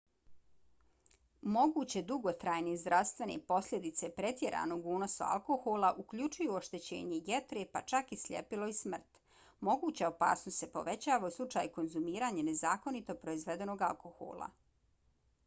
moguće dugotrajne zdravstvene posljedice pretjeranog unosa alkohola uključuju oštećenje jetre pa čak i sljepilo i smrt. moguća opasnost se povećava u slučaju konzumiranja nezakonito proizvedenog alkohola